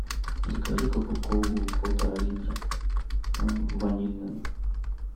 закажи кока колу полтора литра ванильную